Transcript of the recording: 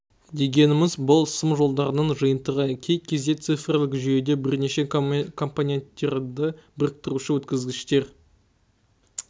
дегеніміз бұл сым-жолдарының жиынтығы кей кезде цифрлік жүйеде бірнеше компоненттерді біріктіруші өткізгіштер